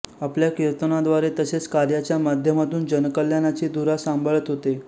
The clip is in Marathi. आपल्या कीर्तनाद्वारे तसेच कार्याच्या माध्यमातून जनकल्याणाची धुरा सांभाळत होते